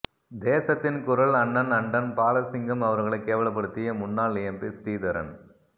தேசத்தின் குரல் அண்ணன் அன்டன் பாலசிங்கம் அவர்களை கேவலப்படுத்திய முன்னாள் எம்பி ஸ்ரீதரன்